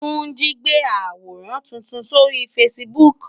Tunji ti gbé àwórán tútún sóri fásibúk